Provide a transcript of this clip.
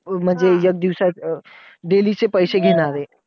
म्हणजे एक दिवसाचे अं daily चे पैसे घेणार आहे.